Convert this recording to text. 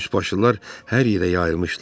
Üçbaşlılar hər yerə yayılmışdılar.